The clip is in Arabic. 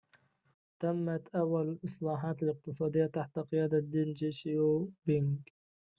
تمت أول الإصلاحات الاقتصادية تحت قيادة دينج شياو بينج